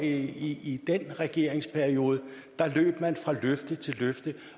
i den regerings periode der løb man fra løfte til løfte